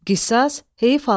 Qisas, heyf alma.